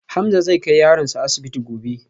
Hamza zai kai yaronsa asibiti gobe